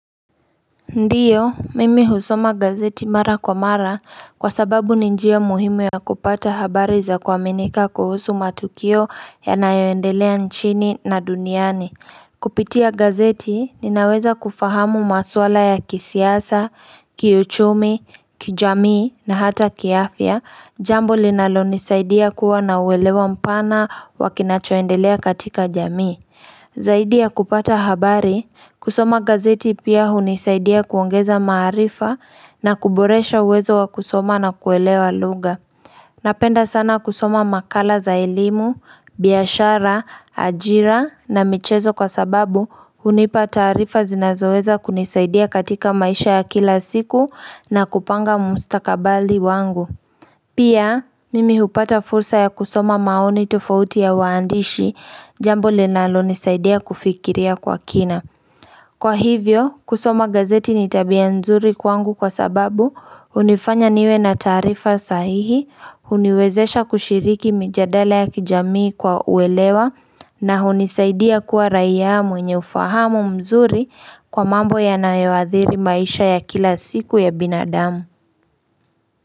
Ndiyo, mimi husoma gazeti mara kwa mara kwa sababu ninjia muhimu ya kupata habari za kuaminika kuhusu matukio ya nayoendelea nchini na duniani. Kupitia gazeti, ninaweza kufahamu maswala ya kisiasa, kiuchumi, kijamii na hata kiafya, jambo linalo nisaidia kuwa na uwelewa mpana wakinachoendelea katika jamii. Zaidi ya kupata habari, kusoma gazeti pia hunisaidia kuongeza maarifa na kuboresha uwezo wa kusoma na kuelewa lugha. Napenda sana kusoma makala za elimu, biashara, ajira na michezo kwa sababu hunipa taarifa zinazoweza kunisaidia katika maisha ya kila siku na kupanga mstakabali wangu. Pia, mimi hupata fursa ya kusoma maoni tofauti ya waandishi jambo linalo nisaidia kufikiria kwa kina. Kwa hivyo, kusoma gazeti nitabia nzuri kwangu kwa sababu hunifanya niwe na tarifa sahihi, huniwezesha kushiriki mjadala ya kijamii kwa uelewa na hunisaidia kuwa raia mwenye ufahamu mzuri kwa mambo yanayoadhiri maisha ya kila siku ya binadamu.